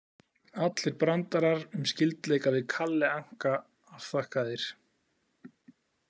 Allir brandarar um skyldleika við Kalle Anka afþakkaðir.